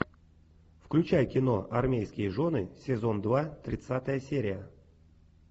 включай кино армейские жены сезон два тридцатая серия